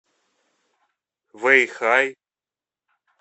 вэйхай